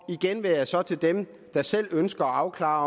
igen vil jeg så til dem der selv ønsker at afklare